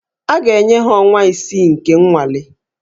A ga-enye ha ọnwa isii nke nnwale